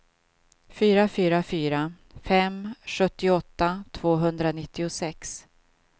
fyra fyra fyra fem sjuttioåtta tvåhundranittiosex